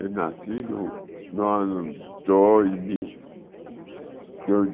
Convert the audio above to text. Eu nasci no no ano dois mil.